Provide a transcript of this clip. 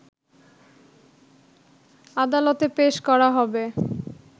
আদালতে পেশ করা হবে